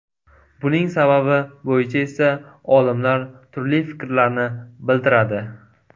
Buning sababi bo‘yicha esa olimlar turli fikrlarni bildiradi.